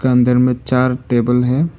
अंदर में चार टेबल हैं।